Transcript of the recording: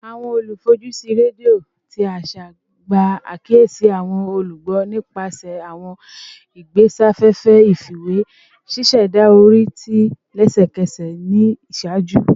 Awọn olufojusi redio ti aṣa gba akiyesi awọn olugbo nipasẹ awọn igbesafefe ifiwe, ṣiṣẹda ori ti lẹsẹkẹsẹ ni iṣaaju